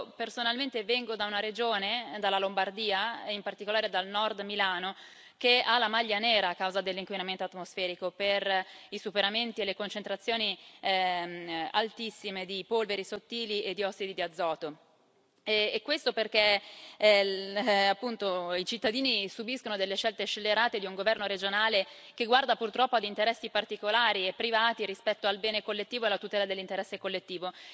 Io personalmente vengo da una regione, dalla Lombardia e in particolare dal Nord Milano, che ha la maglia nera a causa dell'inquinamento atmosferico per i superamenti e le concentrazioni altissime di polveri sottili e di ossidi di azoto, e questo perché i cittadini subiscono delle scelte scellerate di un governo regionale che guarda purtroppo ad interessi particolari e privati rispetto al bene collettivo e alla tutela dell'interesse collettivo.